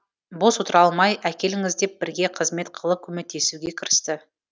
бос отыра алмай әкеліңіз деп бірге қызмет қылып көмектесуге кірісті